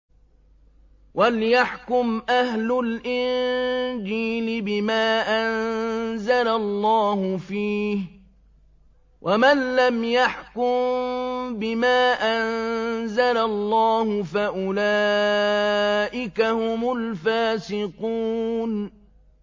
وَلْيَحْكُمْ أَهْلُ الْإِنجِيلِ بِمَا أَنزَلَ اللَّهُ فِيهِ ۚ وَمَن لَّمْ يَحْكُم بِمَا أَنزَلَ اللَّهُ فَأُولَٰئِكَ هُمُ الْفَاسِقُونَ